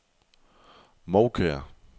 Moukær